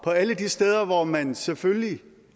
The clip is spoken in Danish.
alle de steder hvor man selvfølgelig